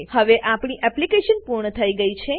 હવે આપણી એપ્લીકેશન પૂર્ણ થઇ ગઈ છે